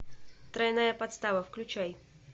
тройная подстава включай